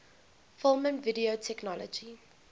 film and video technology